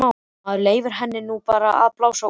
Maður leyfir henni nú bara að blása út.